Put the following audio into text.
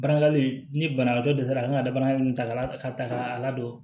Barakali ni banabagatɔ dɛsɛ kan ka danaya min ta la ka ta ka ladon